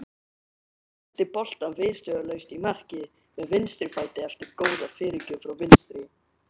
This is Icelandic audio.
Hún sendi boltann viðstöðulaust í markið með vinstri fæti eftir góða fyrirgjöf frá vinstri.